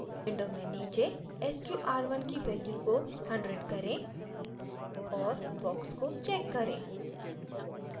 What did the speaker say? window में नीचे sqr1 की value को 100 करें और box को check करें